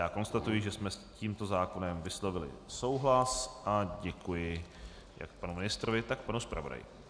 Já konstatuji, že jsme s tímto zákonem vyslovili souhlas a děkuji jak panu ministrovi, tak panu zpravodaji.